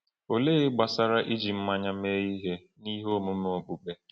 Olee gbasara iji mmanya mee ihe n’ihe omume okpukpe?